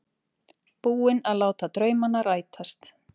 Búinn að láta draumana rætast.